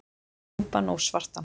Djúpan og svartan.